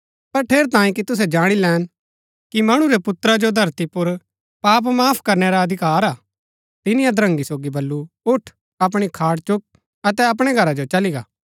पर ठेरैतांये कि तुसै जाणी लैन कि मणु रै पुत्रा जो धरती पुर पाप माफ करणै रा अधिकार हा तिनी अधरंगी सोगी बल्लू उठ अपणी खाट चुक अतै अपणै घरा जो चली गा